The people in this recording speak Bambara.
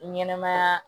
Ɲɛnɛmaya